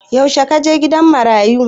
Yaushe ka je gidan marayu?